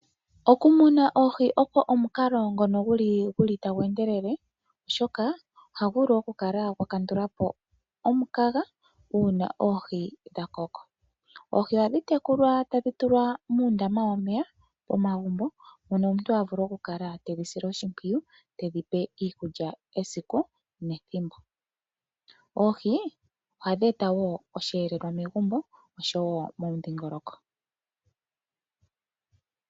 Okumuna oohi omukalo ngono tagu endelele, oshoka ohagu kandulapo omukaga uuna oohi dhakoko. Oohi ohadhi tekulwa tadhi tulwa muundama womeya momagumbo mono omuntu ta vulu oku kala tedhi sile oshipwiyu tedhipe iikulya kehe esiku nethimbo. Oohi ohashi eta osheelelwa megumbo nomomudhingoloko.